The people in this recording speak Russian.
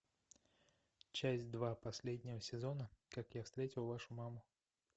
часть два последнего сезона как я встретил вашу маму